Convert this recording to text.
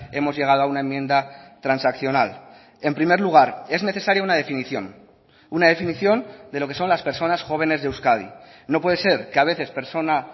hemos llegado a una enmienda transaccional en primer lugar es necesaria una definición una definición de lo que son las personas jóvenes de euskadi no puede ser que a veces persona